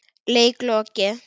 Leik lokið.